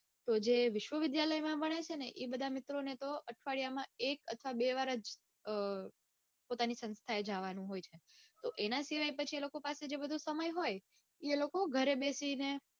તો જે વિશ્વવિદ્યાલય માં ભણે છે ને એ બધા મિત્રોને તો અઠવાડિયામાં એક કે બે વાર જ અઅઅ પોતાની સંસ્થાએ જાવાનું હોય છે તો એને સિવાય પાછો જે સમય હોય બીજો હોય એ લોકો ઘરે બેસી ને